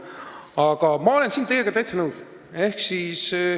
Aga ma olen teiega täitsa nõus.